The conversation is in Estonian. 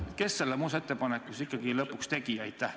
Kes selle muudatusettepaneku siis ikkagi lõpuks tegi?